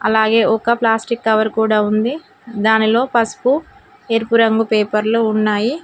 అలాగే ఒక plastic cover కూడా ఉంది దానిలో పసుపు ఎరుపు రంగు పేపర్లు ఉన్నాయి.